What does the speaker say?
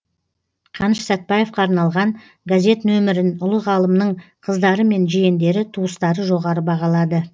қаныш сәтбаевқа арналған газет нөмірін ұлы ғалымның қыздары мен жиендері туыстары жоғары бағалады